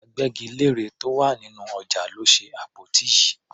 Agbẹ́gilére tó wà nínú ọjà ló ṣe àpótí yìí.